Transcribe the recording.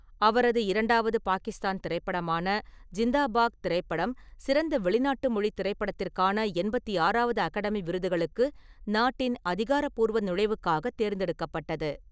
அவரது இரண்டாவது பாகிஸ்தான் திரைப்படமான ஜிண்தா பாக் திரைப்படம் சிறந்த வெளிநாட்டு மொழித் திரைப்படத்திற்கான எண்பத்தி ஆறாவது அகாடமி விருதுகளுக்கு நாட்டின் அதிகாரப்பூர்வ நுழைவுக்காகத் தேர்ந்தெடுக்கப்பட்டது.